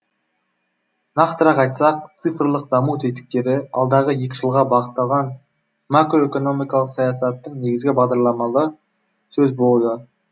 нақтырақ айтсақ цифрлық даму тетіктері алдағы екі жылға бағытталған макроэкономикалық саясаттың негізгі бағдарламалары сөз болуда